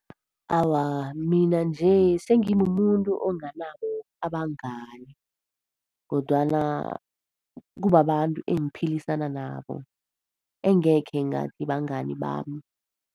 Awa, mina nje sengimumuntu onganabo abangani, kodwana kubabantu engiphilisana nabo. Engekhe ngathi bangani bami.